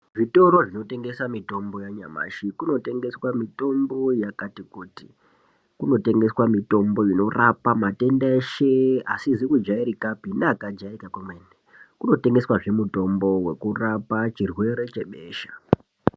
Zvitoro zvinotengesa mitombo yanyamashi kunotengeswa mitombo yakati kuti. Kunotengeswa mitombo inorapa matenda eshe asizi kujairikapi neakajairika kwemene. Kunotengeswazve mutombo wekurapa chirwere chebesha.